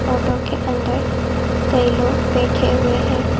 Auto के अंदर कई लोग बैठे हुए हैं।